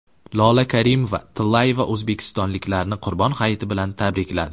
Lola Karimova-Tillayeva o‘zbekistonliklarni Qurbon hayiti bilan tabrikladi.